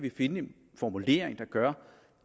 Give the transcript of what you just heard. finde en formulering der gør